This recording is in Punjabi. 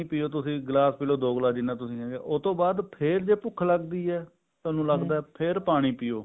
ਪਾਣੀ ਪਿਓ ਤੁਸੀਂ ਗਲਾਸ ਦੋ ਗਲਾਸ ਜਿੰਨਾ ਤੁਸੀਂ ਉਹਤੋਂ ਬਾਅਦ ਫ਼ੇਰ ਜੇ ਭੁੱਖ ਲੱਗਦੀ ਹੈ ਤੁਹਾਨੂੰ ਲੱਗਦਾ ਫ਼ੇਰ ਪਾਣੀ ਪਿਓ